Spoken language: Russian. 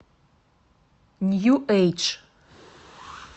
нью эйдж